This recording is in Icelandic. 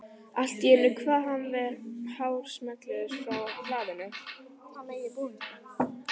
Allt í einu kvað við hár smellur frá hlaðinu.